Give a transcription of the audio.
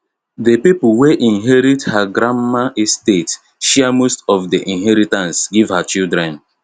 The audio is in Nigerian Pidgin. the people wey inherit her grandma estate share most of the inheritance give her children